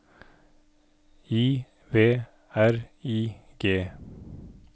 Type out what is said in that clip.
I V R I G